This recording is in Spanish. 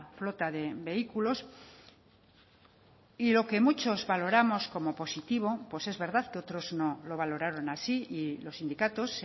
flota de vehículos y lo que muchos valoramos como positivo pues es verdad que otros no lo valoraron así y los sindicatos